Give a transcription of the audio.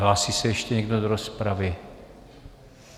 Hlásí se ještě někdo do rozpravy?